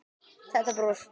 Þetta bros!